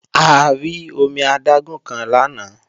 A rí omi adágún kan lánàá